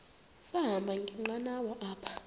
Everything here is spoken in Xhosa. sahamba ngenqanawa apha